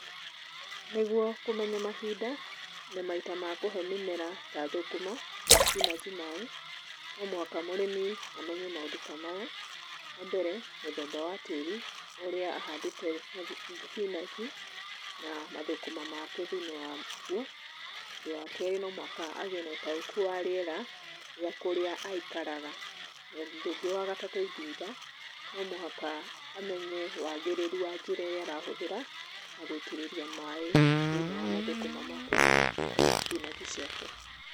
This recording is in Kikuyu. Nĩgũo kũmenya mahinda na maita ma kũhe mĩmera ta thũkũma na thibinanji maaĩ, no mũhaka mũrĩmi amenye maũndũ ta maya: Wambere; mũthemba wa tĩĩri ũrĩa ahandĩte thibinanji na mathũkũma make thĩinĩ wagũo. Ũndũ wa keerĩ no mũhaka agĩe na ũtaũkũ wa rĩera rĩa kũrĩa aikaraga. Na ũndũ ũngĩ wa gatatũ ingĩũga, no mũhaka amenye wagĩrĩrũ wa njĩra ĩrĩa arahũthĩra ya gũitĩrĩria maaĩ thĩinĩ wa mathũkũma make kana thibinanji ciake.